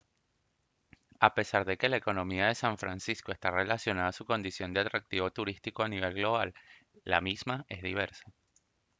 a pesar de que la economía de san francisco está relacionada a su condición de atractivo turístico a nivel global la misma es diversa